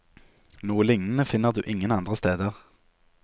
Noe lignende finner du ingen andre steder.